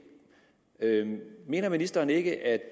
mener ministeren ikke at